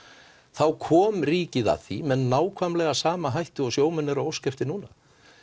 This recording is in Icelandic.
þá kom ríkið að því með nákvæmlega sama hætti og sjómenn eru að óska eftir núna